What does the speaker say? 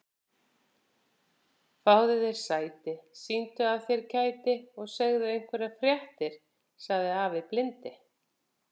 Fáðu þér sæti, sýndu af þér kæti og segðu einhverjar fréttir sagði afi blindi.